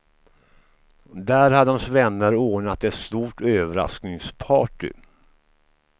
Där hade hans vänner ordnat ett stort överraskningparty.